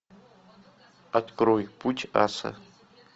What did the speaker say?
открой путь аса